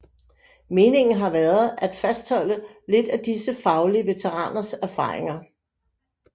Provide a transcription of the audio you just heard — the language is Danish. Meningen har været at fastholde lidt af disse faglige veteraners erfaringer